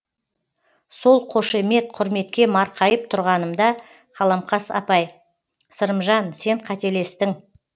сол қошемет құрметке марқайып тұрғанымда қаламқас апай сырымжан сен қателестің